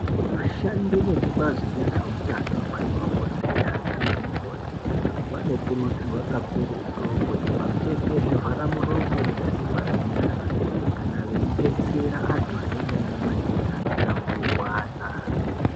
Vashandi vezvebazi rezveutano madhokodheya naana mukoti vanokurudzirwa kakurutu kuti vapfeke zvivhara muromo nezvivhara nyara kana veidetsera vantu vane matenda anotapurirwana.